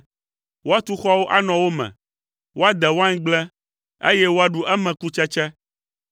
Woatu xɔwo anɔ wo me. Woade waingble, eye woaɖu eme kutsetse.